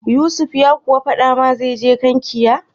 Yusuf ya kuwa faɗa ma zai je Kankia?